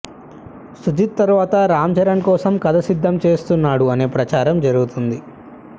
సుజిత్ తర్వాత రామ్ చరణ్ కోసం కథ సిద్ధం చేస్తున్నాడు అనే ప్రచారం జరుగుతుంది